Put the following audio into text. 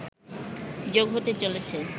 যোগ হতে চলেছে